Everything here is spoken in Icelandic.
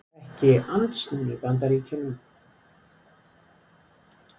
Ekki andsnúnir Bandaríkjunum